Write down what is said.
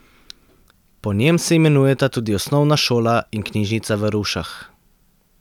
Po njem se imenujeta tudi osnovna šola in knjižnica v Rušah.